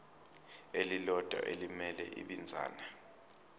elilodwa elimele ibinzana